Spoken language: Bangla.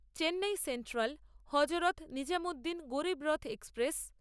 Chennai central Hazrat Nizamuddin Garib Rath express